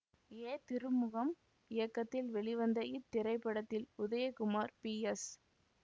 ஏ திருமுகம் இயக்கத்தில் வெளிவந்த இத்திரைப்படத்தில் உதயகுமார் பி எஸ்